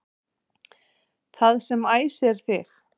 Það sem æsir þig